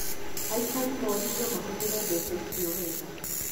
Aikari moririo mahũthĩre mbeca icio wega